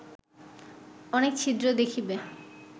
অনেক ছিদ্র দেখিবে